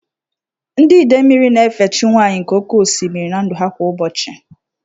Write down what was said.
Ndị Idemili na-efe chi nwanyị nke oke osimiri (Idemili) na ndụ ha kwa ụbọchị.